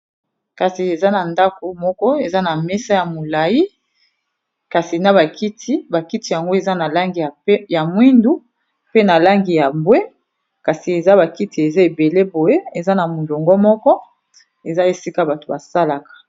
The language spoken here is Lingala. kasi eza na ndako moko eza na mesa ya molai kasi na bakiti bakiti yango eza na langi ya mwindu pe na langi ya bwe kasi eza bakiti eza ebele boye eza na molongo moko eza esika bato basalaka